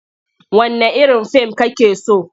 Wanne irin fim kake so?